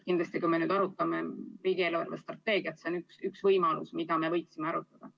Kindlasti, kui me arutame riigi eelarvestrateegiat, siis see on üks teema, mida me võiksime arutada.